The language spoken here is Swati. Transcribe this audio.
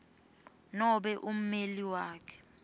nobe ummeleli wakhe